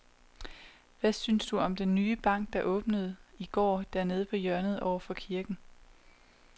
Hvad synes du om den nye bank, der åbnede i går dernede på hjørnet over for kirken?